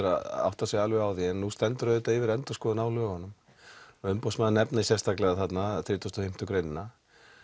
að átta sig alveg á því en nú stendur auðvitað yfir endurskoðun á lögunum og umboðsmaður nefnir sérstaklega þarna þrjátíu og fimm greinina